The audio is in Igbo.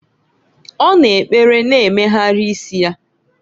Ọ na-ekpere na-emegharị isi ya.